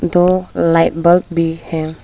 दो light bulb भी है।